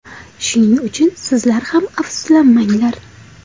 Shuning uchun sizlar ham afsuslanmanglar.